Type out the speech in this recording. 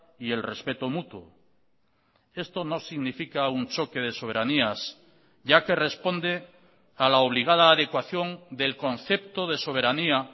y el respeto mutuo esto no significa un choque de soberanías ya que responde a la obligada adecuación del concepto de soberanía